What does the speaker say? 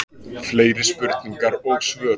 Fleiri spurningar og svör